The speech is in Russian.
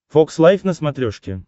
фокс лайв на смотрешке